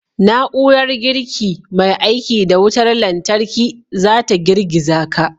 Na'urar girki mai aiki da wutar lantarki za ta girgiza ka.